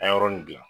A ye yɔrɔnin gilan